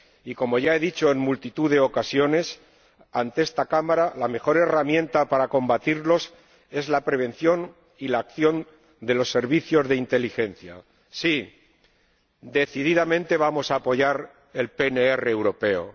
Y como ya he dicho en multitud de ocasiones ante esta Cámara, la mejor herramienta para combatirlos es la prevención y la acción de los servicios de inteligencia. Sí, decididamente vamos a apoyar el PNR europeo.